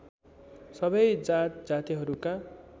सबै जात जातिहरूका